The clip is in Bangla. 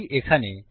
এটি এখানে